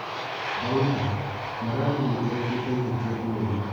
Daudi: Marani nĩ ĩ kĩ te ihĩ tia inene.